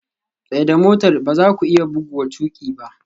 Tsaida motar! ba za ku iya buguwa tuƙi ba